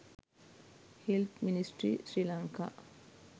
health ministry srilanka